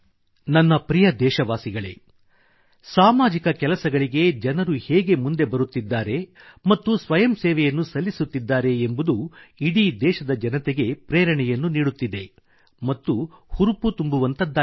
ನನ್ನ ಪ್ರಿಯ ದೇಶವಾಸಿಗಳೇ ಸಾಮಾಜಿಕ ಕೆಲಸಗಳಿಗೆ ಜನರು ಹೇಗೆ ಮುಂದೆ ಬರುತ್ತಿದ್ದಾರೆ ಮತ್ತು ಸ್ವಯಂ ಸೇವೆಯನ್ನು ಸಲ್ಲಿಸುತ್ತಿದ್ದಾರೆ ಎಂಬುದು ಇಡೀ ದೇಶದ ಜನತೆಗೆ ಪ್ರೇರಣೆಯನ್ನು ನೀಡುತ್ತಿದೆ ಮತ್ತು ಹುರುಪು ತುಂಬುವಂಥದ್ದಾಗಿದೆ